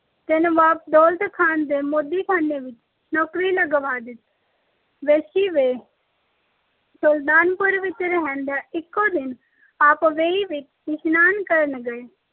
ਤੇ ਨਵਾਬ ਦੌਲਤ ਖਾਨ ਦੇ ਮੋਦੀਖਾਨੇ ਵਿੱਚ ਨੌਕਰੀ ਤੇ ਲਗਵਾ ਦਿੱਤਾ। ਵੇਈ ਵੇਸ਼- ਸੁਲਤਾਨਪੁਰ ਵਿੱਚ ਰਹਿੰਦਿਆਂ ਇੱਕੋ ਦਿਨ ਆਪ ਵੇਈ ਵਿੱਚ ਇਸ਼ਨਾਨ ਕਰਨ ਗਏ